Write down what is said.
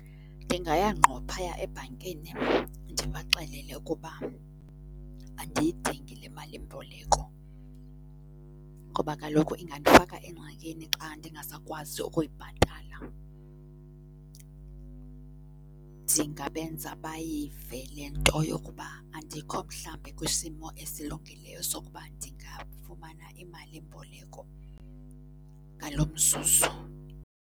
Ndingaya ngqo phaya ebhankini ndibaxelele ukuba andiyidingi le malimboleko ngoba kaloku ingandifaka engxakini xa ndingasakwazi ukuyibhatala. Ndingabenza bayivale le nto yokuba andikho mhlambi kwisimo esilungileyo sokuba ndingafumana imalimboleko ngalo mzuzu.